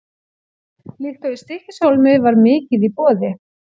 Líkt og í Stykkishólmi var mikið í boði.